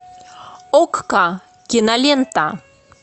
окко кинолента